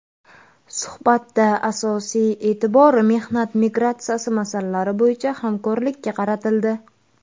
Suhbatda asosiy e’tibor mehnat migratsiyasi masalalari bo‘yicha hamkorlikka qaratildi.